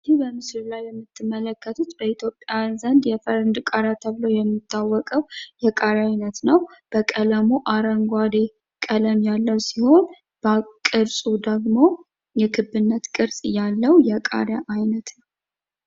ይህ በምስሉ ላይ የምትመለከቱት በኢትዮጵያውያን ዘንድ የፈረንጅ ቃሪያ ተብሎ የሚታወቀው የቃሪያ አይነት ነው። በቀለሙ አረንጓዴ ቀለም ያለው ሲሆን ቅርፁ ደግሞ የክብነት ቅርፅ ያለው የቃሪያ አይነት ነው።